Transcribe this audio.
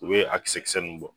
U be a kisɛ kisɛ nunnu bɔ.